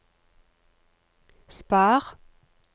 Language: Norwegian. spar